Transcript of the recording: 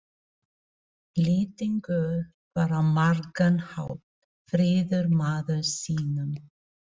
Lýtingur var á margan hátt fríður maður sýnum.